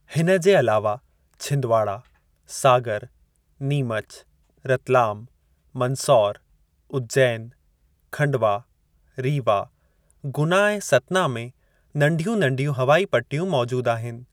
हिन जे अलावा छिंदवाड़ा, सागर, नीमच, रतलाम, मंदसौर, उज्जैन, खंडवा, रीवा, गुना ऐं सतना में नंढियूं -नंढियूं हवाई पट्टियूं मौजूदु आहिनि।